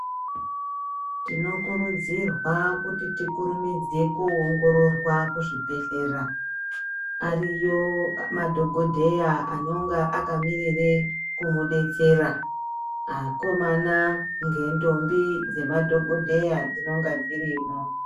Tinokurudzirwa kuti tikurumidze kuongororwa kuzvibhehlera ariyo madhokodheya anonge akamirira kudetsera akomana ngendombi dzemadhokodheya dzinenge dzirimwo.